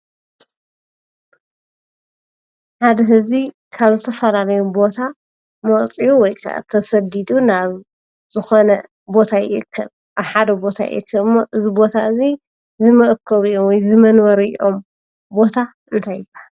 ሓደ ህዝቢ ካብ ዝተፈላለዩ ቦታ መፅዩ ወይ ካዓ ተሰዲዱ ናብ ዝኾነ ቦታ ይእከብ ኣብ ሓደ ቦታ ይእከብ እሞ እዚ ቦታ እዚ ዝመአከቢኦም ወይ ዝመንበሪኦም ቦታ እንታይ ይብሃል?